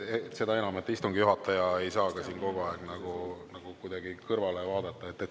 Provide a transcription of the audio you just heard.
Seda enam, et istungi juhataja ei saa siin kogu aeg kuidagi kõrvale vaadata.